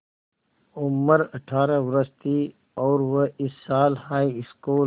उम्र अठ्ठारह वर्ष थी और वह इस साल हाईस्कूल